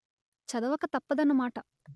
చదవక తప్పదన్న మాట